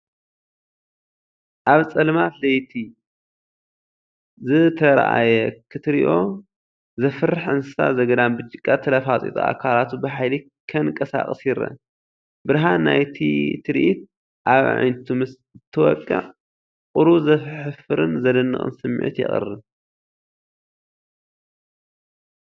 ኣብ ጸልማት ለይቲ ዝተራእየ ክትሪኦ ዘፍርሕ እንስሳ ዘገዳም ብጭቃ ተለፍፂፁ ኣካላቱ ብሓይሊ ከንቀሳቕስ ይረአ። ብርሃን ናይቲ ትርኢት ኣብ ኣዒንቱ ምስ እንትወቅዕ ቁሩብ ዘሕፍርን ዘድንቕን ስምዒት የቕርብ።